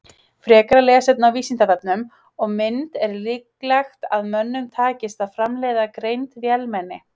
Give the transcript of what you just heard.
Frekara lesefni á Vísindavefnum og mynd Er líklegt að mönnum takist að framleiða greind vélmenni?